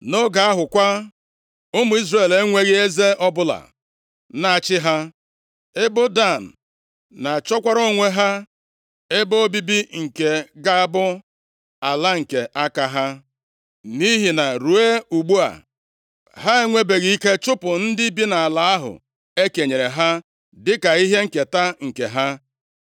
Nʼoge ahụ kwa, ụmụ Izrel enweghị eze ọbụla na-achị ha. Ebo Dan na-achọkwara onwe ha ebe obibi nke ga-abụ ala nke aka ha, nʼihi na ruo ugbu a, ha enwebeghị ike chụpụ ndị bi nʼala ahụ e kenyere ha dịka ihe nketa nke ha.